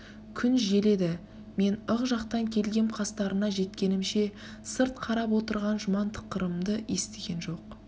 күн жел еді мен ық жақтан келгем қастарына жеткенімше сырт қарап отырған жұман тықырымды естіген жоқ